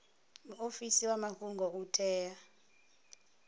muofisi wa mafhungo u tea